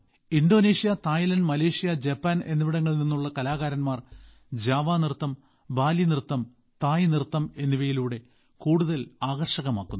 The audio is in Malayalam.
ഇന്തോനേഷ്യ തായ്ലാൻഡ് മലേഷ്യ ജപ്പാൻ എന്നിവിടങ്ങഗളിൽ നിന്നുള്ള കലാകാരൻമാർ ജാവ നൃത്തം ബാലി നൃത്തം തായ് നൃത്തം എന്നിവയിലൂടെ കൂടുതൽ ആകർഷകമാക്കുന്നു